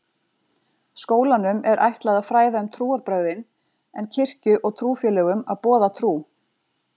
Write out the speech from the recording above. Skólanum er ætlað að fræða um trúarbrögðin en kirkju og trúfélögum að boða trú.